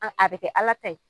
a bɛ kɛ Ala ta ye